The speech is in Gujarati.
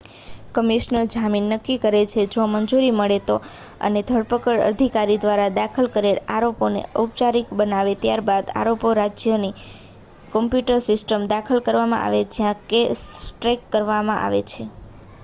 કમિશનર જામીન નક્કી કરે છે જો મંજૂરી મળે તો અને ધરપકડ અધિકારી દ્વારા દાખલ કરેલા આરોપોને ઔપચારિક બનાવે છે ત્યારબાદ આરોપો રાજ્યની કોમ્પ્યુટર સિસ્ટમમાં દાખલ કરવામાં આવે છે જ્યાં કેસ ટ્રેક કરવામાં આવે છે